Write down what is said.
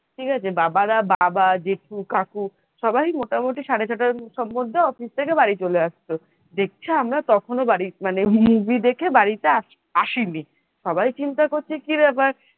ঠিক আছে বাবা রা বাবা জেঠু কাকু সবাই মোটামুটি সাড়ে ছটার সম্বন্ধে office থেকে বাড়ি চলে আসতো দেখছে আমরা বাড়ি মানে movie দেখে তখনো বাড়িতে আসেনি। সবাই চিন্তা করছে কি ব্যাপার,